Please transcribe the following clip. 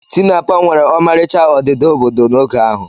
Tinapa nwere ọmarịcha odida obodo n'oge ahụ.